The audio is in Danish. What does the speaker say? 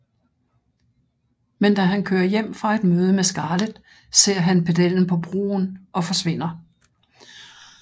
Men da han kører hjem fra et møde med Scarlett ser han pedellen på broen og forsvinder